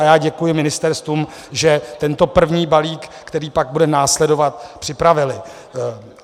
A já děkuji ministerstvům, že tento první balík, který pak bude následovat, připravila.